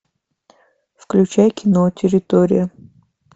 включай кино территория